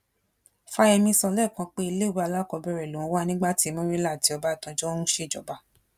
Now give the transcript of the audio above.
fáyẹmí sọ lẹ́ẹ̀kan pé iléèwé alákọ̀ọ́bẹ̀rẹ̀ lòun wà nígbà tí murila àti ọbásanjọ́ ń ṣèjọba